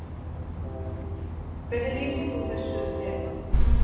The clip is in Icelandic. Hvernig lýsir þú þessu þema?